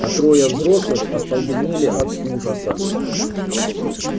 а трое взрослых остолбенели от ужаса